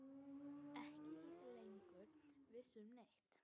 Ekki lengur viss um neitt.